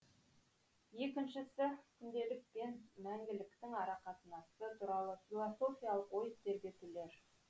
екіншісі күнделік пен мәңгіліктің арақатынасы туралы философиялық ой тербетулер